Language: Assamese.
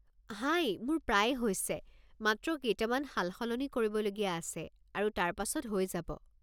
হাই, মোৰ প্ৰায় হৈছে, মাত্ৰ কেইটামান সালসলনি কৰিবলগীয়া আছে আৰু তাৰ পাছত হৈ যাব।